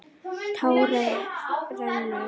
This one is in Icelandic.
Tárið rennur.